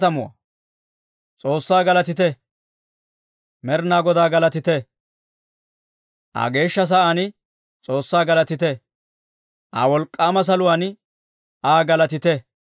Med'inaa Godaa galatite! Aa geeshsha sa'aan S'oossaa galatite; Aa wolk'k'aama saluwaan Aa galatite.